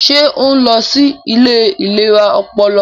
Ṣe o nlọ sí ilé ìlera ọpọlọ?